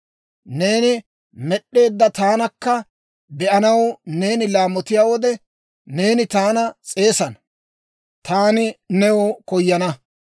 Neeni med'd'eedda taanakka be'anaw neeni laamotiyaa wode, neeni taana s'eesana; taani new koyana.